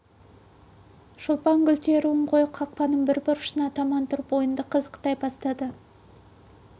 шолпан гүл теруін қойып қақпаның бір бұрышына таман тұрып ойынды қызықтай бастады